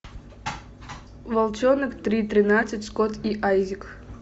волчонок три тринадцать скотт и айзек